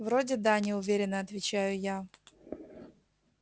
вроде да неуверенно отвечаю я